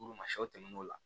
Olu ma sɔ tɛmɛ o la